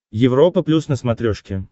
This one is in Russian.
европа плюс на смотрешке